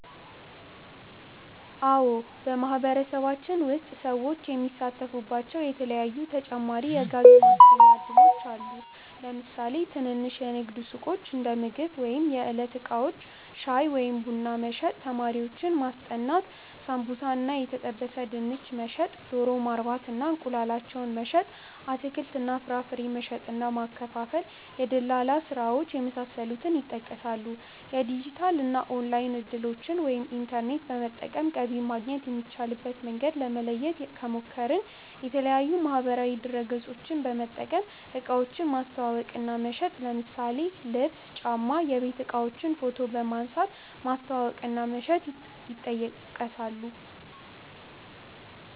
አዎ በማህበረሰባችን ውስጥ ሰዎች የሚሳተፉባቸዉ የተለያዪ ተጨማሪ የገቢ ማስገኛ እድሎች አሉ። ለምሳሌ ትንንሽ የንግድ ሱቆች(እንደምግብ ወይም የዕለት እቃዎች) ፣ ሻይ ወይም ቡና መሸጥ፣ ተማሪዎችን ማስጠናት፣ ሳምቡሳ እና የተጠበሰ ድንች መሸጥ፣ ዶሮ ማርባት እና እንቁላላቸውን መሸጥ፣ አትክልት እና ፍራፍሬ መሸጥ እና ማከፋፈል፣ የድለላ ስራዎች የመሳሰሉት ይጠቀሳሉ። የዲጂታል እና ኦንላይን እድሎችን( ኢንተርኔት በመጠቀም ገቢ ማግኘት የሚቻልበት መንገድ) ለማየት ከሞከርን፦ የተለያዪ ማህበራዊ ድረገፆችን በመጠቀም እቃዎችን ማስተዋወቅ እና መሸጥ ለምሳሌ ልብስ፣ ጫማ፣ የቤት እቃዎችን ፎቶ በመንሳት ማስተዋወቅ እና መሸጥ ይጠቀሳሉ።